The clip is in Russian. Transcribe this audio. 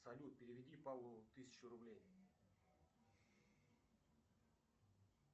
салют переведи павлу тысячу рублей